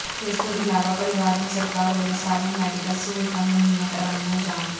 ਇਸ ਤੋਂ ਇਲਾਵਾ ਪਰਿਵਾਰ ਨੂੰ ਸਰਕਾਰ ਵਲੋਂ ਸਾਰੀਆਂ ਮੈਡੀਕਲ ਸਹੂਲਤਾਂ ਮੁਹੱਈਆ ਕਰਵਾਈਆਂ ਜਾਣ